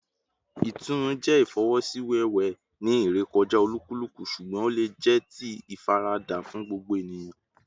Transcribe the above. Itunu jẹ ifosiwewe ni irekọja olukuluku, ṣugbọn o le jẹ ti ifarada fun gbogbo eniyan